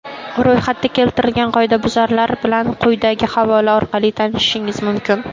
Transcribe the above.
Ro‘yxatda keltirilgan qoidabuzarlar bilan quyidagi havola orqali tanishishingiz mumkin.